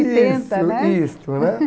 né? Isso, isso, né.